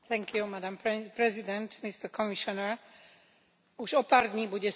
Už o pár dní bude Slovensko po prvýkrát predsedať v Rade Európskej únie.